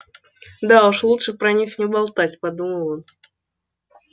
да уж лучше про них не болтать подумал он